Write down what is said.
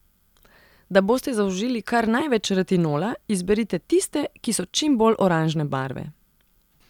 Da boste zaužili kar največ retinola, izberite tiste, ki so čim bolj oranžne barve.